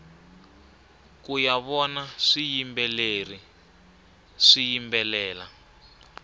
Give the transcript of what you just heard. kuya vona swiyimbeleri swiyimbelela